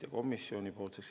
Läbirääkimiste soovi ei ole.